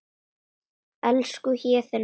Elsku Héðinn minn.